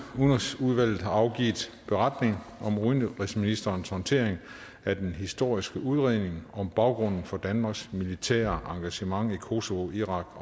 udenrigsudvalget har afgivet beretning om udenrigsministerens håndtering af den historiske udredning om baggrunden for danmarks militære engagement i kosovo irak